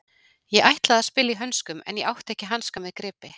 Ég ætlaði að spila í hönskum en ég átti ekki hanska með gripi.